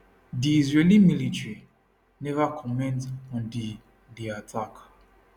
di israeli military neva comment on di di attack